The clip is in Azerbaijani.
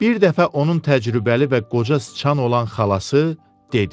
Bir dəfə onun təcrübəli və qoca sıçan olan xalası dedi: